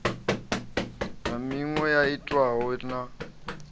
na miṅwe yo itwaho na